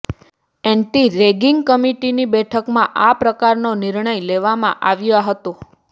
anti ragging કમિટીની બેઠકમાં આ પ્રકારનો નિર્ણય લેવામાં આવ્યા હતો